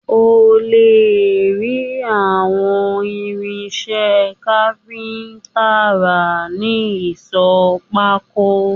Ó lè rí àwọn irinṣẹ́ kápíntà rà ní ìsọ̀ pákó